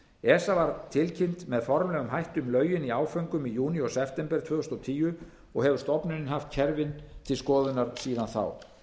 esa var tilkynnt með formlegum hætti um lögin í áföngum í júní og september tvö þúsund og tíu og hefur stofnunin haft kerfið til skoðunar síðan þá